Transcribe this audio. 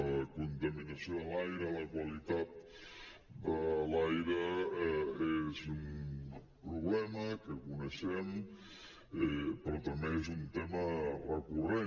la contaminació de l’aire la qualitat de l’aire és un problema que coneixem però també és un tema recurrent